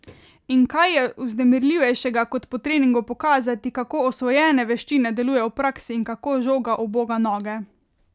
In kaj je vznemirljivejšega kot po treningu pokazati, kako osvojene veščine delujejo v praksi in kako žoga uboga noge?